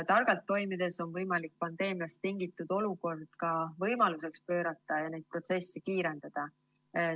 Targalt toimides on võimalik pandeemiast tingitud olukord ka võimaluseks pöörata ja neid protsesse kiirendada.